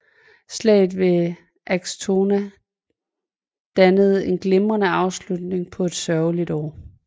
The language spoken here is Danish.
Slaget ved Axtorna dannede en glimrende afslutning på et sørgeligt år